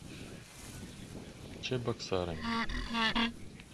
чебоксарами